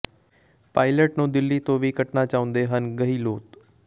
pilot ਨੂੰ ਦਿੱਲੀ ਤੋਂ ਵੀ ਕੱਟਣਾ ਚਾਹੁੰਦੇ ਹਨ ਗਹਿਲੋਤ